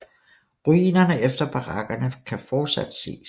Ruinerne efter barakkerne kan fortsat ses